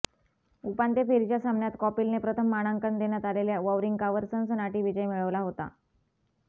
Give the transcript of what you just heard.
उपांत्य फेरीच्या सामन्यात कॉपीलने प्रथम मानांकन देण्यात आलेल्या वॉवरिंकावर सनसनाटी विजय मिळवला होता